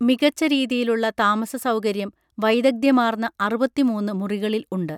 മികച്ച രീതിയിലുള്ള താമസസൗകര്യം വൈദഗ്ദ്യമാർന്ന അറുപത്തി മൂന്ന് മുറികളിൽ ഉണ്ട്